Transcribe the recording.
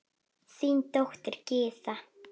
Þín dóttir, Gyða.